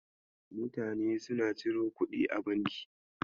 Mutane suna ciro kuɗi a banki.